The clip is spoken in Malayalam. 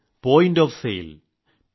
point of sale p